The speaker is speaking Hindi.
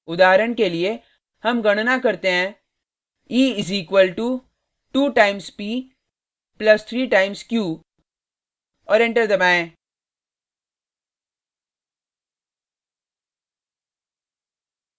उदाहरण के लिए हम गणना करते हैं e is equal to 2 times p plus 3 times q और एंटर दबाएँ: